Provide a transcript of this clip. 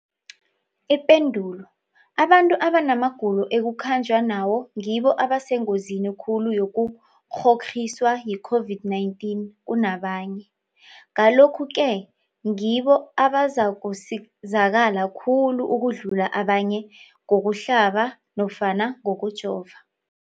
Ipendulo, abantu abanamagulo ekukhanjwa nawo ngibo abasengozini khulu yokukghokghiswa yi-COVID-19 kunabanye, Ngalokhu-ke ngibo abazakusizakala khulu ukudlula abanye ngokuhlaba nofana ngokujova.